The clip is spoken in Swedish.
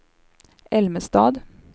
Älmestad